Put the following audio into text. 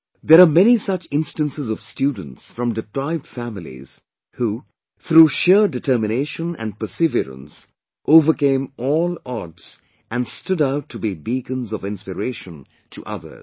There are many such instances of students from deprived families who, through sheer determination & perseverance overcame all odds and stood out to be beacons of inspiration to others